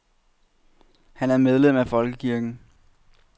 Han er medlem af folkekirken.